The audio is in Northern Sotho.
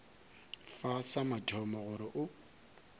fa sa mathomo gore o